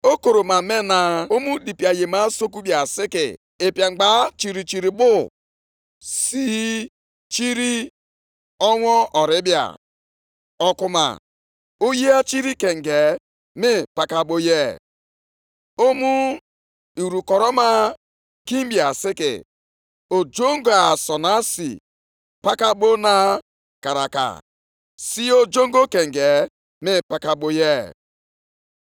Kedụ ọnọdụ unu? Mgbe mmadụ bịara nʼebe o debere ọtụtụ iri efere ọka abụọ, ihe ọ na-ahụ bụ naanị ọtụtụ efere ọka iri. Ọ bụrụkwa na ọ bịa nʼebe ịnara mmanya ka o were iri ite mmanya ise, ọ bụ naanị iri ite mmanya abụọ ka ọ ga-enweta.